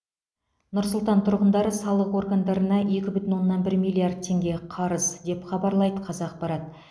нұр сұлтан тұрғындары салық органдарына екі бүтін оннан бір миллион теңге қарыз деп хабарлайды қазақпарат